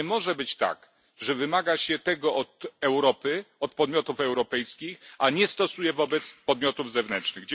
Nie może być tak, że wymaga się tego od Europy, od podmiotów europejskich, a nie stosuje wobec podmiotów zewnętrznych.